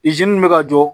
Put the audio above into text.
min bɛ ka jɔ